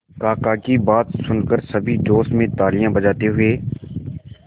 काका की बात सुनकर सभी जोश में तालियां बजाते हुए